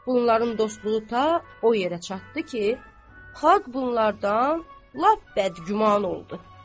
Bunların dostluğu ta o yerə çatdı ki, xalq bunlardan lap bəd-güman oldu.